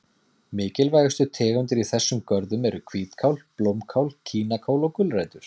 Mikilvægustu tegundir í þessum görðum eru hvítkál, blómkál, kínakál og gulrætur.